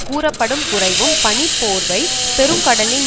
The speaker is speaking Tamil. கூறப்படும் குறையும் பனிப்போர்வை பெருங்கடலின்